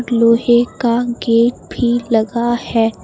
लोहे का गेट भी लगा है।